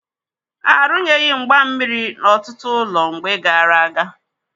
Arụnyeghi mgba mmiri n'ọtụtụ ụlọ mgbe gaara aga.